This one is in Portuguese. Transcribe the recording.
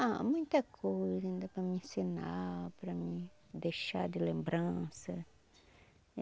Ah, muita coisa ainda para mim ensinar, para mim deixar de lembrança.